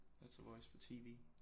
It's a voice for TV